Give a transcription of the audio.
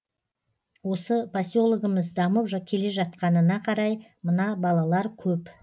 осы поселогіміз дамып келе жатқанына қарай мына балалар көп